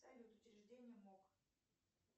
салют учреждение мок